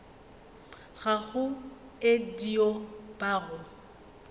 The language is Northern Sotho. gago e dio ba go